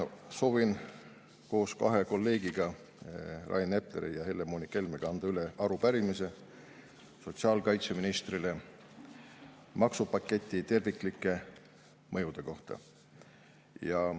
Soovin koos kahe kolleegiga, Rain Epleri ja Helle-Moonika Helmega, anda üle arupärimise sotsiaalkaitseministrile maksupaketi terviklike mõjude kohta.